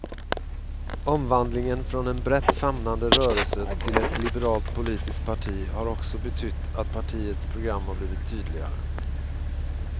Omvandlingen från en brett famnande rörelse till ett liberalt politiskt parti har också betytt att partiets program har blivit tydligare.